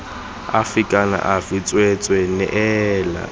afe kana afe tsweetswee neela